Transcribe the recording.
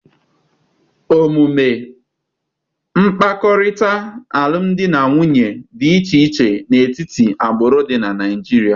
Omume mkpakọrịta alụm alụ nwoke na nwaanyị dị iche iche n'etiti agbụrụ dị na Naịjirịa.